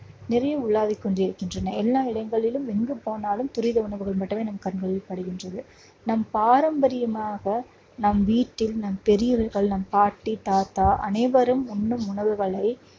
நிறைய உலாவிக் கொண்டிருக்கின்றன. எல்லா இடங்களிலும் எங்கு போனாலும் துரித உணவுகள் மட்டுமே நம் கண்களில் படுகின்றது. நம் பாரம்பரியமாக நம் வீட்டில் நம் பெரியவர்கள் நம் பாட்டி, தாத்தா, அனைவரும் உண்ணும் உணவுகளை